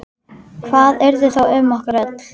Hvað yrði þá um okkur öll?